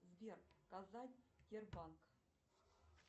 сбер показать сбербанк